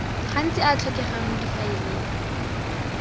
gantsi a tlhokegang mo difaeleng